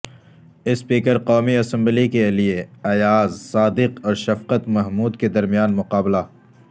اسپیکرقومی assembly کے لیےایاز صادق اورشفقت محمود کے درمیان مقابلہ